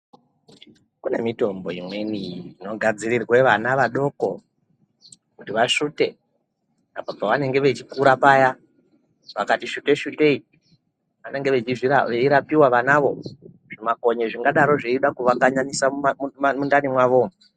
Kune mitombo imweni inogadzirirwa vana vadoko kuti vasvute apo pavanenge veikura paya vakati svutei -svutei vanenge vanenge veirapiwa vanavo zvimakonye zvingada kuvakanyanisa mundani mavo.